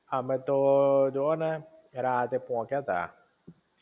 અમે તો જો ને રાતે પોકયા તા